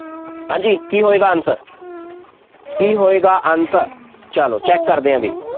ਹਾਂਜੀ ਕੀ ਹੋਏਗਾ answer ਕੀ ਹੋਏਗਾ answer ਚੱਲੋ check ਕਰਦੇ ਹਾਂ ਬਈ,